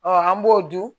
an b'o dun